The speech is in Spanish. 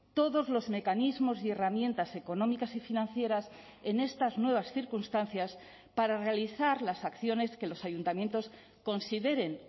todos los mecanismos y herramientas económicas y financieras en estas nuevas circunstancias para realizar las acciones que los ayuntamientos consideren